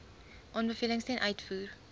aanbevelings ten uitvoer